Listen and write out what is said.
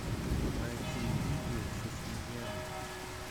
найти видео со свиньями